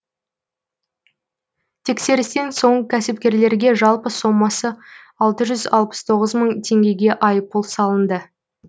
тексерістен соң кәсіпкерлерге жалпы сомасы алты жүз алпыс тоғыз мың теңгеге айыппұл салынды